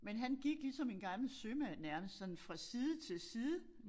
Men han gik ligesom en gammel sømand nærmest sådan fra side til side